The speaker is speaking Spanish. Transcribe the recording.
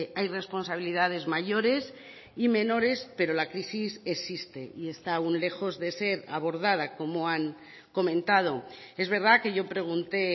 hay responsabilidades mayores y menores pero la crisis existe y está aún lejos de ser abordada como han comentado es verdad que yo pregunté